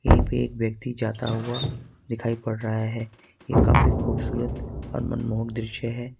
एक व्यक्ति जाता हुआ दिखाई पड़ रहा है ये काफी खूबसूरत और मनमोहक दृश्य है।